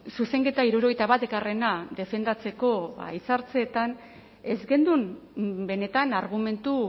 zuzenketa hirurogeita batgarrena defendatzeko hitzaldietan ez genuen benetan argumentu